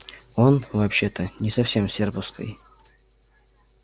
он вообще-то не совсем с серповской